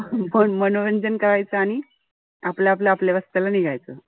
मनोरंजन करायचं आणि आपलं आपलं आपल्या रस्त्याला निघायचं.